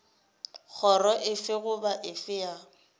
kgoro efe goba efe ya